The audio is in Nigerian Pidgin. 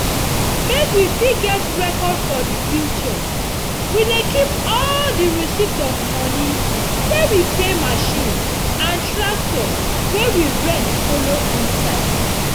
make we fit get record for future we dey keep all di receipt of moni we pay machine and tractor wey we rent follow inside.